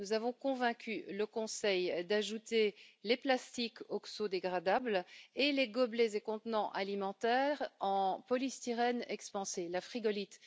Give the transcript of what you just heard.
Nous avons convaincu le Conseil d'ajouter les plastiques oxodégradables et les gobelets et contenants alimentaires en polystyrène expansé, la frigolite.